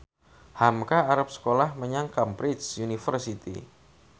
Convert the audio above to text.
hamka arep sekolah menyang Cambridge University